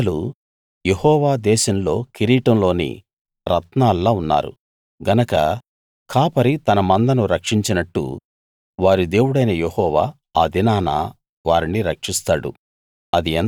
నా ప్రజలు యెహోవా దేశంలో కిరీటంలోని రత్నాల్లా ఉన్నారు గనక కాపరి తన మందను రక్షించినట్టు వారి దేవుడైన యెహోవా ఆ దినాన వారిని రక్షిస్తాడు